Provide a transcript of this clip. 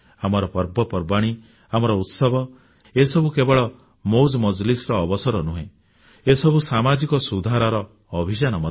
ଆମର ପର୍ବପର୍ବାଣୀ ଆମର ଉତ୍ସବ ଏସବୁ କେବଳ ମଉଜ ମଜଲିସ୍ ର ଅବସର ନୁହେଁ ଏସବୁ ସାମାଜିକ ସଂସ୍କାରର ଅଭିଯାନ ମଧ୍ୟ